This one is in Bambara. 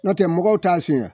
N'o tɛ mɔgɔw t'a suyɛn